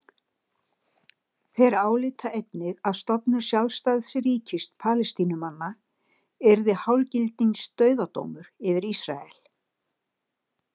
Þeir álíta einnig að stofnun sjálfstæðs ríkis Palestínumanna yrði hálfgildings dauðadómur yfir Ísrael.